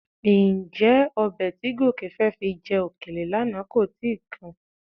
Ǹjẹ́ ọbẹ̀ tí Gòkè fẹ́ fi jẹ òkèlè lánàá kò ti kan?